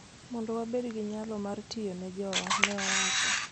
mondo wabed gi nyalo mar tiyo ne jowa, ne owacho.